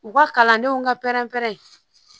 U ka kalandenw ka pɛrɛn-pɛrɛ